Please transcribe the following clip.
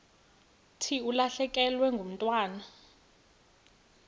thi ulahlekelwe ngumntwana